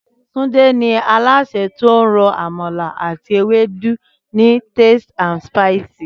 Túndé ni alásè tó ń ro amala àti ewédú ní Tasty and Spicy